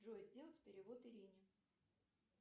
джой сделать перевод ирине